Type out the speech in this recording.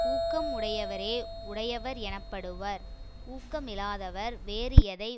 ஊக்கம் உடையவரே உடையவர் எனப்படுவர் ஊக்கமிலாதவர் வேறு எதை